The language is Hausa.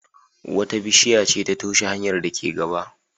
Wata bishiya ce ta toshe hanyar da ke gaba.